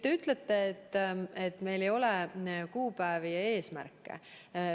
Te ütlete, et meil ei ole kuupäevi ja eesmärke.